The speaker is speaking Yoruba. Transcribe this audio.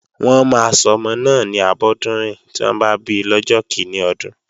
Wọ́n máa sọmọ náà ni Abọ́dúnrìn tí wọ́n bá bi lọ́jọ́ kíní ọdún